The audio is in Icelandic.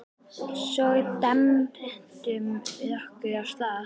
Svo dembdum við okkur af stað.